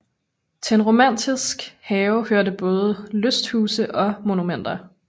Til en romantisk have hørte både lysthuse og monumenter